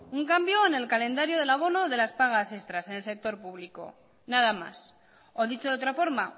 un cambio en el calendario del abono de las pagas extras en el sector público nada más o dicho de otra forma